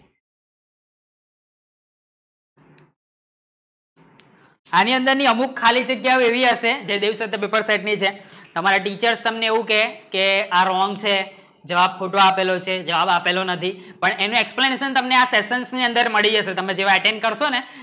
એની અંદર ની ખાલી જગ્યા અમુક વેગળી અસે તમારે teachers તમને એવું કહે કે આ રોહન છે જવાબ ખોટો આપેલો છે જવાબ આપેલો નથી પણ એને explanation તમને આ સેશન્સ ની અંદર મળી જશે જે attend કરશો ને